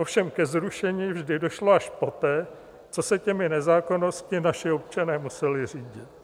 Ovšem ke zrušení vždy došlo až poté, co se těmi nezákonnostmi naši občané museli řídit.